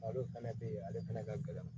Malo fɛnɛ tɛ ye ale fɛnɛ ka gɛlɛn